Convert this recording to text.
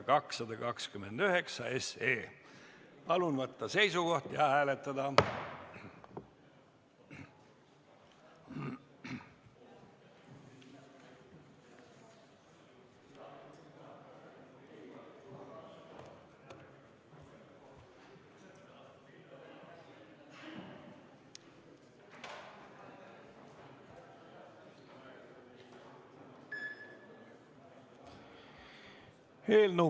Palun võtta seisukoht ja hääletada!